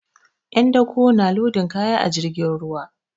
'Yan dako na lodin kaya a jirgin ruwa.